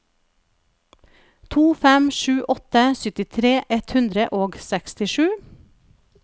to fem sju åtte syttitre ett hundre og sekstisju